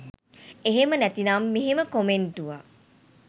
එහෙම නැතිනම් මෙහෙම කොමෙන්ටුවක්